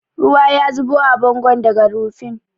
Ruwa ya zubo a bangon daga rufin.